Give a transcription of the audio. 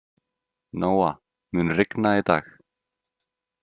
Nóa, mun rigna í dag?